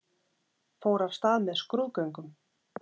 Fór af stað með skrúðgöngum